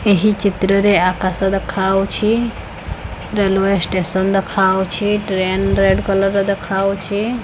ଏହି ଚିତ୍ର ରେ ଆକାଶ ଦେଖାଉଛି ରେଲୱେ ଷ୍ଟେସନ୍ ଦେଖାଉଛି ଟ୍ରେନ୍ ରେଡ୍ କଲର୍ ର ଦେଖାଉଚି।